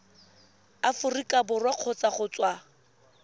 aforika borwa kgotsa go tswa